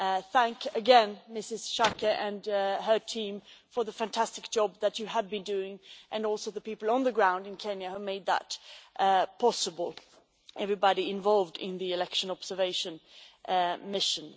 Thank you again, Ms Schaake and your team for the fantastic job that you have been doing and also the people on the ground in Kenya who made it possible for everybody involved in the election observation mission.